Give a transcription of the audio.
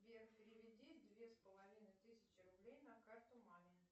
сбер переведи две с половиной тысячи рублей на карту маме